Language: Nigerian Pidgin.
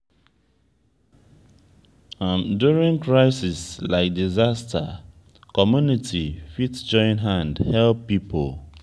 during crisis like disaster community fit join hand help pipo